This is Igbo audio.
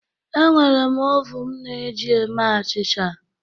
Enwere m ovun m na-eji eme achịcha